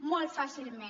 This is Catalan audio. molt fàcilment